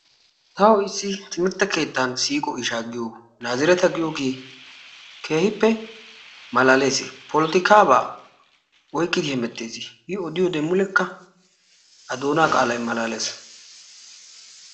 Tawu issi timirtte keettan siiqo ishaa giyo naazireta giyogee keehippe malaales. Polotikaabaa oyqqidi hemettes shin i odiyode mulekka a doonaa qaalayi malaales.